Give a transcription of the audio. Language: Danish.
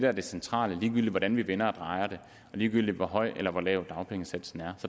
at det centrale ligegyldigt hvordan vi vender og drejer det og ligegyldigt hvor høj eller lav dagpengesatsen er